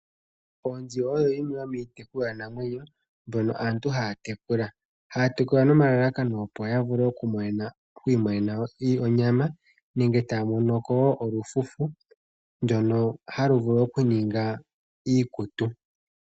Oonzi oyo yimwe yomiitekulwanamwenyo mbono aantu haya tekula. Haya tekula nomalalakano opo ya vule okwiimonena mo onyama nenge taya monoko wo olufufu ndono halu vulu ningwa iikutu.